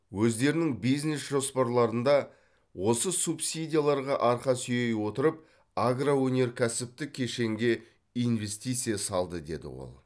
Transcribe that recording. өздерінің бизнес жоспарларында осы субсидияларға арқа сүйей отырып агроөнеркәсіптік кешенге инвестиция салды деді ол